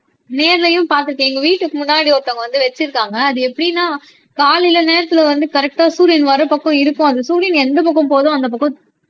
நேர்லயும் பார்த்திருக்கேன் எங்க வீட்டுக்கு முன்னாடி ஒருத்தவங்க வந்து வச்சிருக்காங்க அது எப்படின்னா காலையில நேரத்துல வந்து கரெக்டா சூரியன் வர்ற பக்கம் இருக்கும் அது சூரியன் எந்த பக்கம் போகுதோ அந்த பக்கம்